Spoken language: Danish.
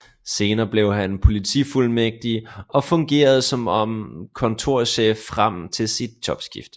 Senere blev han politifuldmægtig og fungerede så som kontorchef frem til sit jobskifte